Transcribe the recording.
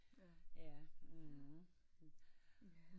Ja